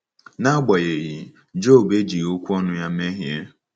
N’agbanyeghị,“ Job ejighị okwu ọnụ ya mehie.”